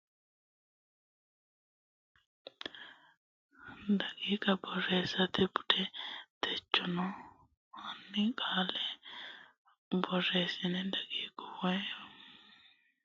Borreessa sa u lamalara ronsummoha daqiiqa borreessate bude techono hanni qolle ate Isayyo Borreessa daqiiqa wo naalleemmo Borreessa Borreessa sa.